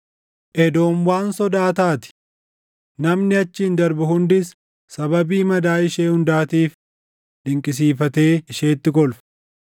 “Edoom waan sodaa taati; namni achiin darbu hundis sababii madaa ishee hundaatiif dinqisiifatee isheetti kolfa.